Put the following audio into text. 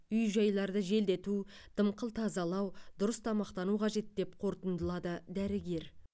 үй жайларды желдету дымқыл тазалау дұрыс тамақтану қажет деп қортындылады дәрігер